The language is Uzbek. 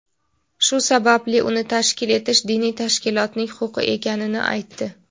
shu sababli uni tashkil etish diniy tashkilotning huquqi ekanini aytdi.